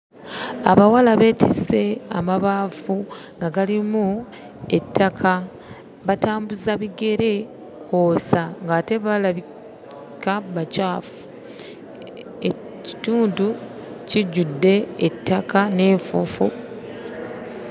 Abawala beetise amabaafu nga galimu ettaka, batambuza bigere ng'ate balabika bacaafu. Ekitundu kijjudde ettaka n'enfuufu.